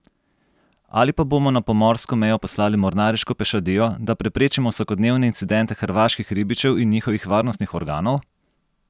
Ali pa bomo na pomorsko mejo poslali mornariško pešadijo, da preprečimo vsakodnevne incidente hrvaških ribičev in njihovih varnostnih organov?